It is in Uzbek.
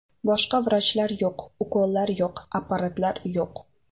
Boshqa vrachlar yo‘q, ukollar yo‘q, apparatlar yo‘q.